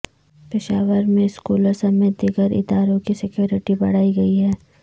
پشاور میں سکولوں سمیت دیگر اداروں کی سکیورٹی بڑھائی گئی ہے